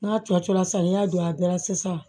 N'a cɔcɔla sa ni y'a don a bɛɛ la sisan